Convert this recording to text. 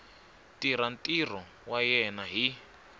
tirha ntirho wa yena hi